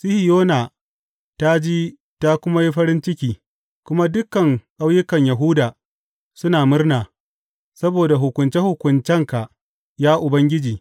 Sihiyona ta ji ta kuma yi farin ciki kuma dukan ƙauyukan Yahuda suna murna saboda hukunce hukuncenka, ya Ubangiji.